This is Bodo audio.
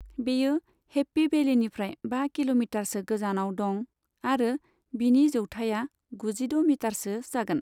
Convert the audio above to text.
बेयो हेप्पी भेलिनिफ्राय बा किल'मिटारसो गोजानाव दं आरो बिनि जौथाया गुजिद' मिटारसो जागोन।